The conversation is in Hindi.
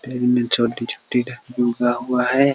पेड़ मे छोटी छोटी उगा हुआ है |